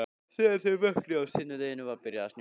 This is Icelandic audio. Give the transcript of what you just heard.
Þegar þau vöknuðu á sunnudeginum var byrjað að snjóa.